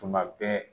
Tuma bɛɛ